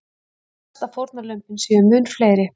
Óttast að fórnarlömbin séu mun fleiri